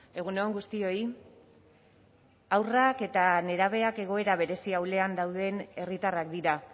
egun on guztioi haurrak eta nerabeak egoera berezi ahulean dauden herritarrak dira